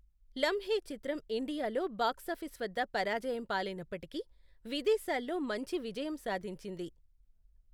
లంహే చిత్రం ఇండియాలో బాక్సాఫీస్ వద్ద పరాజయం పాలైనప్పటికీ విదేశాల్లో మంచి విజయం సాధించింది.